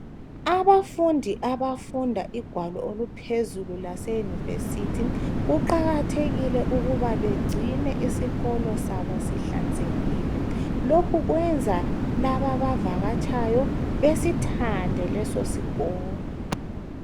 Abafundi abafunda igwalo oluphezulu lase Yunivesi, kuqakathekile ukuba begcine isikolo sabo sihlanzekile. Lokhu kwenza laba abavakatshayo besithande leso sikolo.